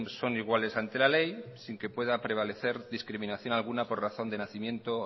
son iguales ante la ley sin que pueda prevalecer discriminación alguna por razón de nacimiento